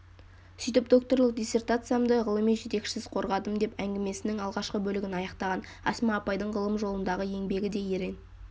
сөйтіп докторлық диссертациямды ғылыми жетекшісіз қорғадым деп әңгімесінің алғашқы бөлігін аяқтаған асма апайдың ғылым жолындағы еңбегі де ерен